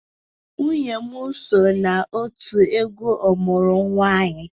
Nwunye m so na otu egwu ọmụrụ-anyị